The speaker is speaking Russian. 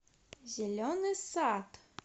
зеленый сад